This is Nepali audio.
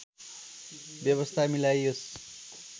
व्यवस्था मिलाइयोस्